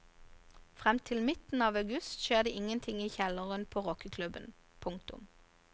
Frem til midten av august skjer det ingenting i kjelleren på rockeklubben. punktum